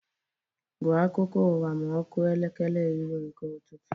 Gụọ akụkọ ụwa ma ọ kụọ elekere iri nke ụtụtụ!